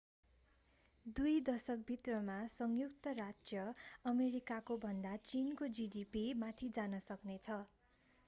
दुई दशक भित्रमा संयुक्त राज्य अमेरिकाको भन्दा चीनको जीडीपी माथि जान सक्ने छ